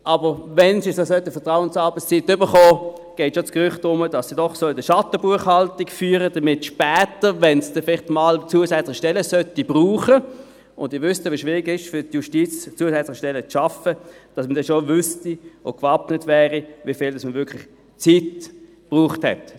Aber, wenn für sie die Vertrauensarbeitszeit eingeführt werden sollte, geht das Gerücht um, dass sie doch eine Schattenbuchhaltung führen sollten, damit es später, wenn dann vielleicht einmal zusätzliche Stellen notwendig würden – und Sie wissen ja, wie schwierig es für die Justiz ist, zusätzliche Stellen zu schaffen –, dass man dann schon gewappnet wäre und wüsste, wie viel Zeit man effektiv gebraucht hat.